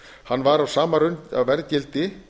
hann var á sama að verðgildi